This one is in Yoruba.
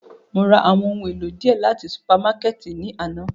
Mo ra awọn ohun elo diẹ lati supamakẹti náa ni ana.